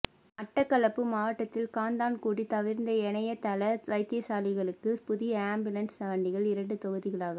மட்டக்களப்பு மாவட்டத்தில் காத்தான்குடி தவிர்ந்த ஏனைய தள வைத்தியசாலைகளிக்கு புதிய அம்பியூலன்ஸ் வண்டிகள் இரண்டு தொகுதிகளாக